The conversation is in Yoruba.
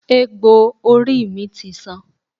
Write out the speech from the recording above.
Egbò orí mi ti san.